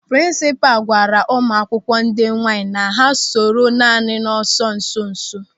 Prinsipal gwara ụmụakwụkwọ ndị nwaanyị na ha soro naanị n'ọsọ nsonso.